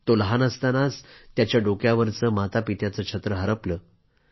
तो लहान असतानाच त्याच्या डोक्यावरच मातापित्यांचं छत्र हरपलं